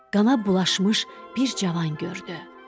Qana bulaşmış bir cavan gördü.